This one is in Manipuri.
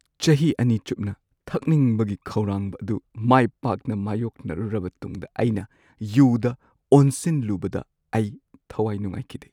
ꯆꯍꯤ ꯲ ꯆꯨꯞꯅ ꯊꯛꯅꯤꯡꯕꯒꯤ ꯈꯧꯔꯥꯡꯕ ꯑꯗꯨ ꯃꯥꯏ ꯄꯥꯛꯅ ꯃꯥꯌꯣꯛꯅꯔꯨꯔꯕ ꯇꯨꯡꯗ ꯑꯩꯅ ꯌꯨꯗ ꯑꯣꯟꯁꯤꯜꯂꯨꯕꯗ ꯑꯩ ꯊꯋꯥꯏ ꯅꯨꯡꯉꯥꯏꯈꯤꯗꯦ꯫